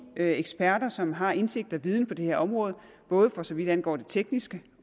eksperter som har indsigt og viden på det her område både for så vidt angår det tekniske